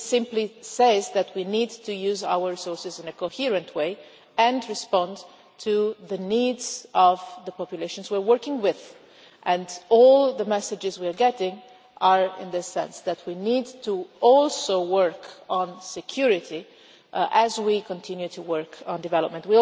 This simply says that we need to use our resources in a coherent way and respond to the needs of the populations we are working with, and all the messages we are getting are in the sense that we need to also work on security as we continue to work on development.